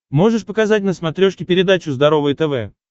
можешь показать на смотрешке передачу здоровое тв